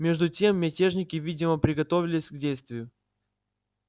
между тем мятежники видимо приготовлялись к действию